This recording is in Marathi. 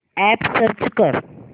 अॅप सर्च कर